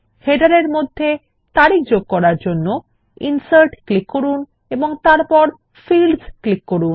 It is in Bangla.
শিরোলেখ এর মধ্যে তারিখ এ যোগ করার জন্য ইনসার্ট ক্লিক করুন এবং তারপর ফিল্ডস বিকল্পে ক্লিক করুন